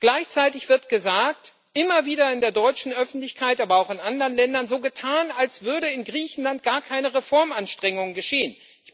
Gleichzeitig wird immer wieder in der deutschen Öffentlichkeit, aber auch in anderen Ländern so getan, als würden in Griechenland gar keine Reformanstrengungen geschehen.